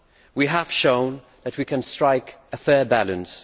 We have shown that we can strike a fair balance.